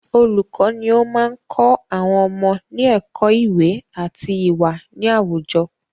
Olùkọ ni o máa n kọ́ àwọn ọmọ ní ẹ̀kọ́ iwe ati iwa ni àwùjọ